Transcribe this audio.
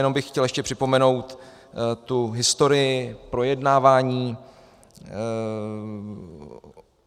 Jenom bych chtěl ještě připomenout tu historii projednávání.